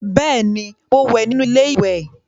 Beeni, mo wẹ́ nínú ilé ìwẹ̀